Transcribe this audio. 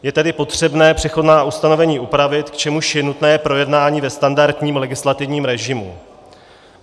Je tedy potřebné přechodná ustanovení upravit, k čemuž je nutné projednání ve standardním legislativním režimu.